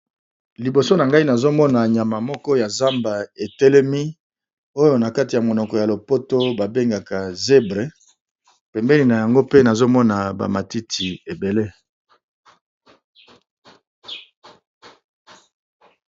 Liboso na ngai nazomona nyama ya zamba etelemi oyo nakati ya monoko ya lopoto ba bengaka zèbre pembeni nango pe nazomona matiti ebele.